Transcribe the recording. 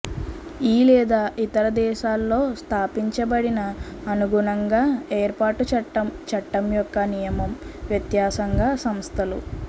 ఈ లేదా ఇతర దేశాలలో స్థాపించబడిన అనుగుణంగా ఏర్పాటు చట్టం చట్టం యొక్క నియమం వ్యత్యాసంగా సంస్థలు